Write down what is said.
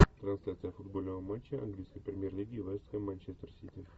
трансляция футбольного матча английской премьер лиги вест хэм манчестер сити